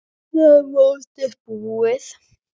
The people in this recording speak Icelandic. Annað mótið búið!